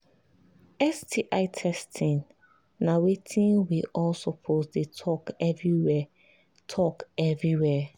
sti testing na watin we all suppose they talk everywhere talk everywhere